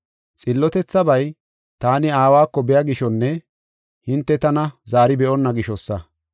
Xillotethabay, taani Aawako biya gishonne hinte tana zaari be7onna gishosa.